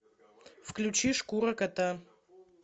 включи шкура кота